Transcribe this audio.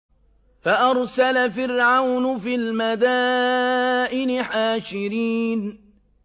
فَأَرْسَلَ فِرْعَوْنُ فِي الْمَدَائِنِ حَاشِرِينَ